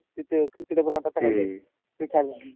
तिथे cricketer ते खेळाया लागले.